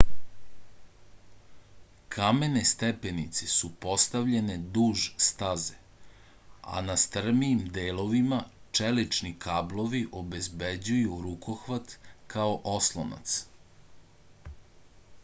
kamene stepenice su postavljene duž staze a na strmijim delovima čelični kablovi obezbeđuju rukohvat kao oslonac